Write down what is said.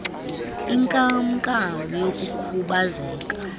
inkam nkam yokukhubazeka